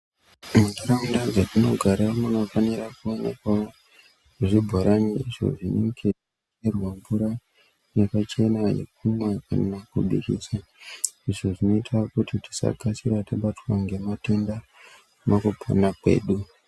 Muntaraunda dzatinogara munofanira kuonekwawo zvibhorani izvo zvichicherwa mvura yakachena yekumwa kana kudiridza izvo zvinoita kuti tisakasira tabatwa ngematenda mukupona kwedu.